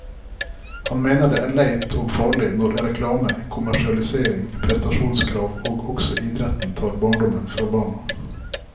Han mener det er leit og farlig når reklame, kommersialisering, prestasjonskrav og også idretten tar barndommen fra barna.